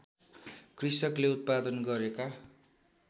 कृषकले उत्पादन गरेका